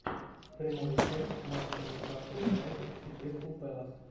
прямой эфир матча ньюкасл юнайтед и кристал пэлас